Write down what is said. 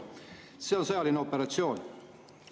See on sõjaline operatsioon.